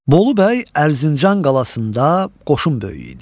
Bolu bəy Ərzincan qalasında qoşun böyüyü idi.